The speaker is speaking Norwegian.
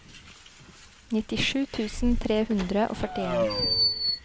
nittisju tusen tre hundre og førtien